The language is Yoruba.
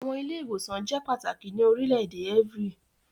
Awọn ile-iwosan jẹ pataki ni orilẹ-ede evry